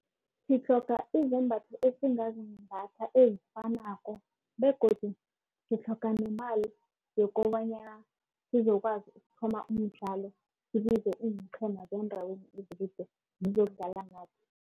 Sitlhoga izembatho esingazimbatha ezifanako begodu sitlhoga nemali yokobanyana sizokwazi ukuthoma umdlalo. Sibize iinqhema zeendaweni ezikude zizokudlala nathi.